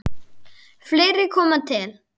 Fleira kom til.